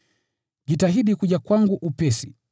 Jitahidi kuja kwangu upesi